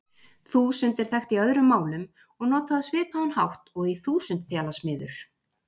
Þúsund er þekkt í öðrum málum og notað á svipaðan hátt og í þúsundþjalasmiður.